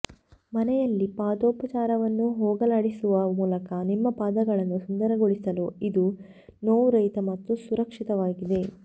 ಮನೆಯಲ್ಲಿ ಪಾದೋಪಚಾರವನ್ನು ಹೋಗಲಾಡಿಸುವ ಮೂಲಕ ನಿಮ್ಮ ಪಾದಗಳನ್ನು ಸುಂದರಗೊಳಿಸಲು ಇದು ನೋವುರಹಿತ ಮತ್ತು ಸುರಕ್ಷಿತವಾಗಿದೆ